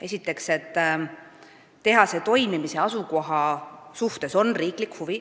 Esiteks, et riik tunneb huvi tehase asukoha vastu.